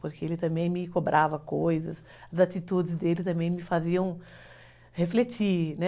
Porque ele também me cobrava coisas, as atitudes dele também me faziam refletir, né?